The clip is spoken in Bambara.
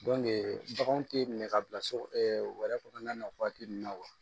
baganw tɛ minɛ ka bila so wɛrɛ kɔnɔna na waati min na wa